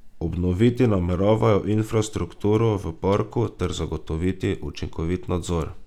Obnoviti nameravajo infrastrukturo v parku ter zagotoviti učinkovit nadzor.